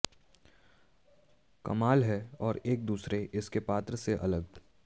कमाल है और एक दूसरे इसके पात्र से अलग